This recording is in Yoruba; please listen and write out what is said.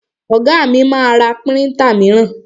Ọ̀gá mi ma ra príntà míràn.